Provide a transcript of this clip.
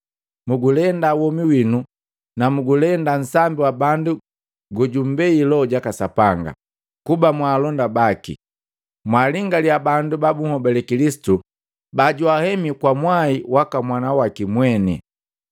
Mugulenda womi winu na mgulenda nsambi wa bandu gojumbei Loho jaka Sapanga kuba mwaalonda baki. Mwaalingalia bandu ba bunhobale Kilisitu bajwahemi kwa mwai waka mwana waki mweni.